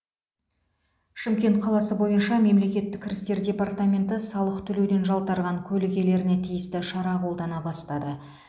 шымкент қаласы бойынша мемлекеттік кірістер департаменті салық төлеуден жалтарған көлік иелеріне тиісті шара қолдана бастады